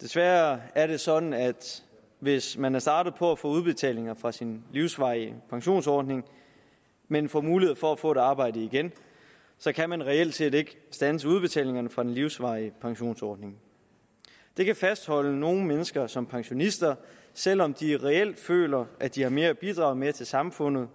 desværre er det sådan at hvis man er startet på at få udbetalinger fra sin livsvarige pensionsordning men får mulighed for at få et arbejde igen kan man reelt set ikke standse udbetalingerne fra den livsvarige pensionsordning det kan fastholde nogle mennesker som pensionister selv om de reelt føler at de har mere at bidrage med til samfundet